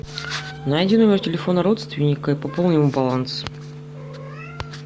найди номер телефона родственника и пополни ему баланс